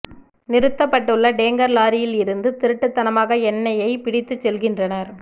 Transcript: நிறுத்தப்பட்டுள்ள tanker லாரியில் இருந்து திருட்டுத்தனமாக எண்ணெய்யை பிடித்து செல்கின்றனர்